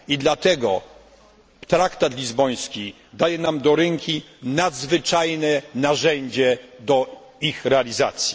I dlatego traktat lizboński daje nam do ręki nadzwyczajne narzędzie do ich realizacji.